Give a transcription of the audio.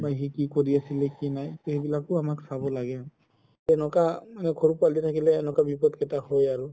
বা সি কি কৰি আছিলে বা কি নাই তো সেইবিলাকও আমাৰ চাব লাগে তেনেকুৱা সৰু পোৱালি থাকিলে বিপদ কেইটা হয় আৰু